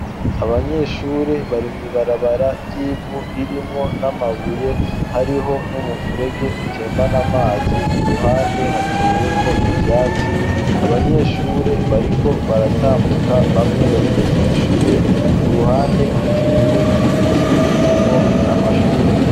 Abanyeshure barimwi barabara ry'ivu ririmwo n'amabuye hariho n'umufurege utembana amazi ku ruhande hateye ko ivyatsi abanyeshure bariko baratambuka bamwe bagiye kwishure ku ruhande hateye ibiti birimwo n'amashurwe.